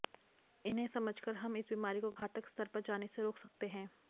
इन्हें समझकर हम इस बीमारी को घातक स्तर पर जाने से रोक सकते हैं